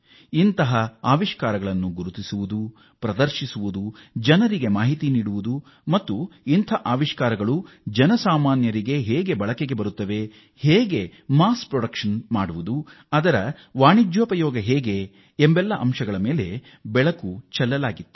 ಈ ನಾವಿನ್ಯತೆಗಳನ್ನು ಗುರುತಿಸಿ ಪ್ರದರ್ಶಿಸಲಾಯಿತು ಮತ್ತು ಜನರಿಗೆ ಅದರ ಬಗ್ಗೆ ಮಾಹಿತಿಯನ್ನೂ ನೀಡಲಾಯಿತು ಈ ನಾವಿನ್ಯ ಆವಿಷ್ಕಾರಗಳು ಸಾಮಾನ್ಯ ಜನರ ಬಳಕೆಗೆ ಹೇಗೆ ಬರುತ್ತವೆ ಇವುಗಳ ಸಾಮೂಹಿಕ ಉತ್ಪಾದನೆ ಹೇಗೆ ಅದರ ವಾಣಿಜ್ಯ ಬಳಕೆ ಹೇಗೆ ಎಂಬ ಬಗ್ಗೆ ಬೆಳಕು ಚೆಲ್ಲಲಾಯಿತು